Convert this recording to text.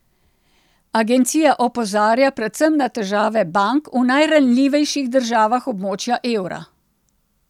Agencija opozarja predvsem na težave bank v najranljivejših državah območja evra.